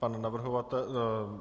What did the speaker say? Pan navrhovatel.